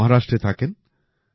ইনি মহারাষ্ট্রে থাকেন